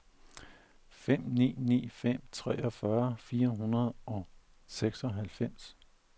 fem ni ni fem treogfyrre fire hundrede og seksoghalvfems